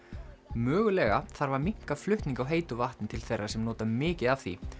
mögulega þarf að minnka flutning á heitu vatni til þeirra sem nota mikið af því